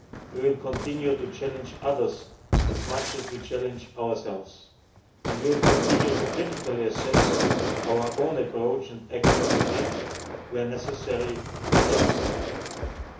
We will continue to challenge others as much as we challenge ourselves, and we will continue to critically assess our own approach and actions and, where necessary, adjust